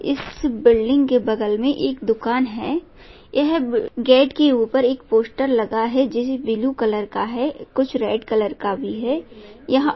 इस बिल्डिग के बगल में एक दुकान है यह गेट के ऊपर एक पोस्टर लगा है जिसे ब्लू कलर का है कुछ रेड कलर का भी है यहाँ--